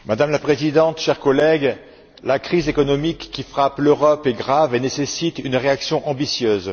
Madame la Présidente, chers collègues, la crise économique qui frappe l'Europe est grave et nécessite une réaction ambitieuse.